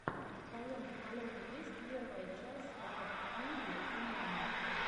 в твоем каталоге есть первая часть ред фьюри эмэма